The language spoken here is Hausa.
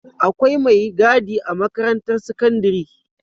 Akwai me gadi a makarantar sakandari